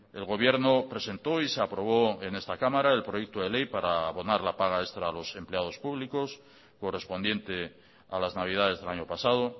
el gobierno presentó y se aprobó en esta cámara el proyecto de ley para abonar la paga extra a los empleados públicos correspondiente a las navidades del año pasado